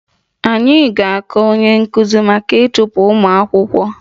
Anyị ga-akọ onye nkuzi maka ịchụpụ ụmụ akwụkwọ